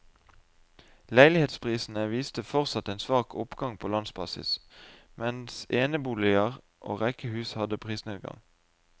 Leilighetsprisene viste fortsatt en svak oppgang på landsbasis, mens eneboliger og rekkehus hadde prisnedgang.